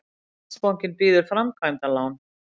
Landsbankinn býður framkvæmdalán